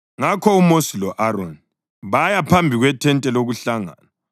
Ngakho uMosi lo-Aroni baya phambi kwethente lokuhlangana,